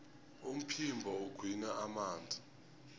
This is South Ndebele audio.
umphimbo ugwinya amanzi